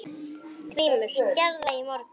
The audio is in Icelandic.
GRÍMUR: Gerði það í morgun!